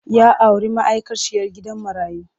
Ya auri ma'aikaciyar gidan marayu.